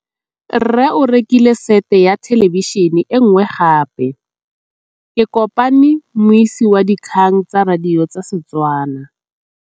Rre o rekile sete ya thêlêbišênê e nngwe gape. Ke kopane mmuisi w dikgang tsa radio tsa Setswana.